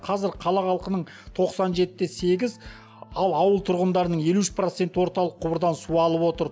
қазір қала халқының тоқсан жеті де сегіз ал ауыл тұрғындарының елу үш проценті орталық құбырдан су алып отыр